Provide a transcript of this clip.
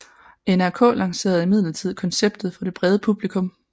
NRK lancerede imidlertid konceptet for det brede publikum